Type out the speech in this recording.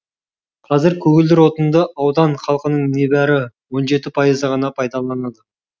қазір көгілдір отынды аудан халқының небәрі он жеті пайызы ғана пайдаланады